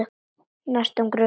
Hann er á næstu grösum.